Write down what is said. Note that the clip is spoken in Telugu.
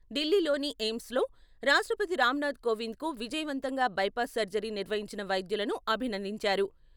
ఢిల్లీలోని ఎయిమ్స్‌లో రాష్ట్రపతి రామ్‌నాథ్ కోవింద్‌కు విజయవంతంగా బైపాస్ సర్జరీ నిర్వహించిన వైద్యులను అభినందించారు.